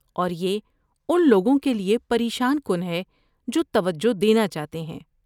اور یہ ان لوگوں کے لیے پریشان کن ہے جو توجہ دینا چاہتے ہیں۔